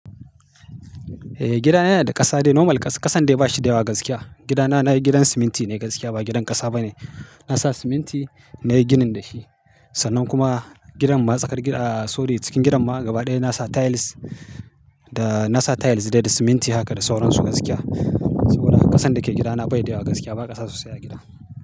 Eh, gida na yana da ƙasa de normal ƙa-ƙasan dai bashi da yawa gaskiya. Gida na na yi gidan siminti ne gaskiya ba gidan ƙasa ba ne. Na sa siminti na yi ginin da shi. Sannan kuma gidan masaƙar, gida a-a sorry cikin gidan ma gaba ɗaya na sa tiles da na sa tiles dai da siminti haka da sauran su gaskiya. Saboda ƙasan da ke gida na bai da yawa gaskiya ba ƙasa sosai a gida.